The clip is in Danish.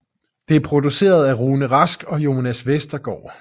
Det er produceret af Rune Rask og Jonas Vestergaard